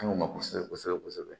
An ŋ'o ma kosɛbɛ kosɛbɛ